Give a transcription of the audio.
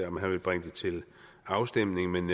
om han vil bringe det til afstemning men